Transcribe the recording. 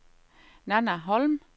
Nanna Holm